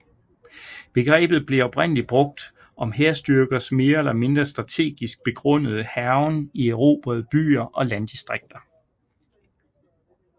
Begrebet blev oprindelig brugt om hærstyrkers mere eller mindre strategisk begrundede hærgen i erobrede byer og landdistrikter